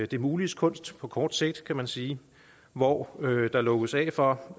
det muliges kunst på kort sigt kan man sige hvor der lukkes af for